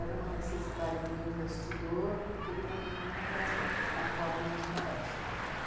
Era uma necessidade do investidor porque ele também nunca tinha atuado na Zona Leste.